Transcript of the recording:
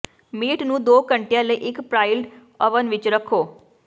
meat ਨੂੰ ਦੋ ਘੰਟਿਆਂ ਲਈ ਇੱਕ ਪ੍ਰੀਇਲਡ ਓਵਨ ਵਿੱਚ ਰੱਖੋ